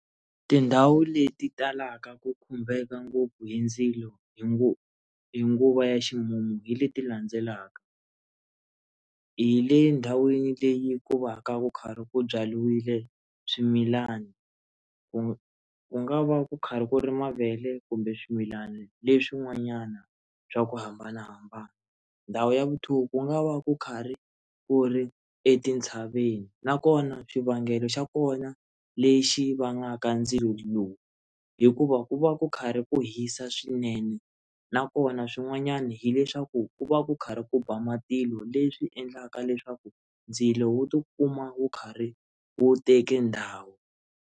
Tindhawu leti talaka ku khumbeka ngopfu hi ndzilo hi nguva ya ximumu hi leti landzelaka, hi le ndhawini leyi ku va ku kha ku byariwile swimilani ku ku nga va ku karhi ku ri mavele kumbe swimilana leswi n'wanyana swa ku hambanahambana ndhawu ya vu two, ku nga va ku kha ri ku ri etintshaveni na kona xivangelo xa kona lexi vangaka ndzilo lowu hikuva ku va ku karhi ku hisa swinene na kona swin'wanyana hileswaku ku va ku karhi ku ba matilo leswi endlaka leswaku ndzilo wu tikuma wu karhi wu teke ndhawu.